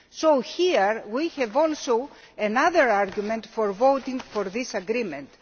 So here we have yet another argument for voting for this agreement.